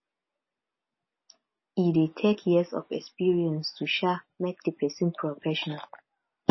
e de take years of experience to um make di persin professional